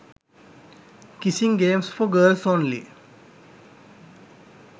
kissing games for girls only